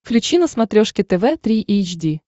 включи на смотрешке тв три эйч ди